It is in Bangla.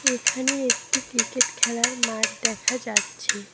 এখানে একটি ক্রিকেট খেলার মাঠ দেখা যাচ্ছে।